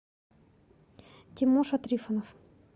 тимоша трифонов